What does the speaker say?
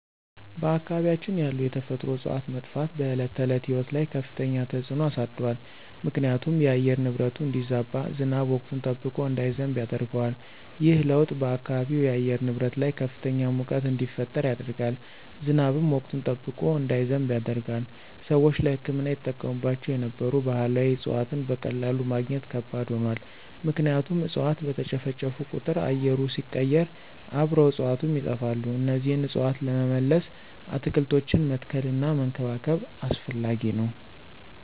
በአካባቢያችን ያሉ የተፈጥሮ እፅዋት መጥፋት በዕለት ተዕለት ሕይወት ላይ ከፍተኛ ተጽዕኖ አሳድሯል ምክንያቱም የአየር ንብረቱ እንዲዛባ፣ ዝናብ ወቅቱን ጠብቆ እንዳይዘንብ ያደርገዋል። ይህ ለውጥ በአካባቢው የአየር ንብረት ላይ ከፍተኛ ሙቀት እንዲፈጠር ያደርጋል፣ ዝናብም ወቅቱን ጠብቆ እንዳይዘንብ ያደርጋል። ሰዎች ለሕክምና ይጠቀሙባቸው የነበሩ ባህላዊ እፅዋትን በቀላሉ ማግኘት ከባድ ሆኗል ምክንያቱም እፅዋት በተጨፈጨፉ ቁጥር አየሩ ሲቀየር አብረው እፅዋቱም ይጠፋሉ እነዚህን እፅዋት ለመመለስ አትክልቶችን መትከልና መንከባከብ አስፈላጊ ነው።